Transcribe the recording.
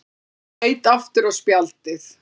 Hann leit aftur á spjaldið.